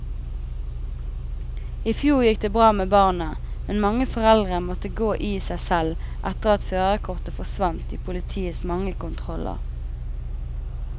I fjor gikk det bra med barna, men mange foreldre måtte gå i seg selv etter at førerkortet forsvant i politiets mange kontroller.